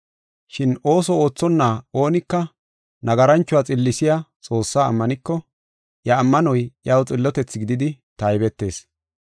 Shin ooso oothonna oonika nagaranchuwa xillisiya Xoossaa ammaniko, iya ammanoy iyaw xillotethi gididi taybetees.